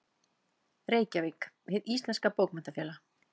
Reykjavík: Hið íslenska Bókmenntafélag.